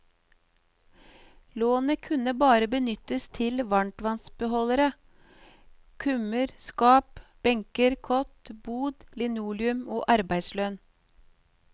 Lånet kunne bare benyttes til varmtvannsbeholdere, kummer, skap, benker, kott, bod, linoleum og arbeidslønn.